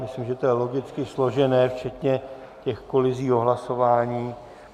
Myslím, že to je logicky složené včetně těch kolizí o hlasování.